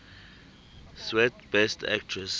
swet best actress